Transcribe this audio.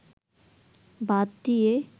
বাধ দিয়ে